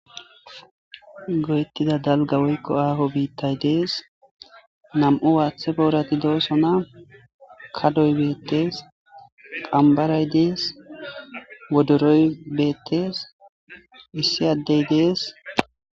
Goyettida dalga woykko aaho biittay dees nam7u waaththe boorati dooso na kadoy beettees qambaray dees wodoroy beettes issi addey dees.